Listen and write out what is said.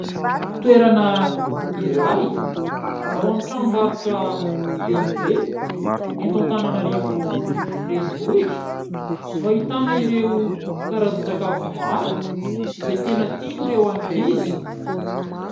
Toerana iray ao amin'ny tranombarotra lehibe eto Antananarivo renivohitra, no ahitana ireo karazan-tsakafo maro izay tena tian'ireo ankizy.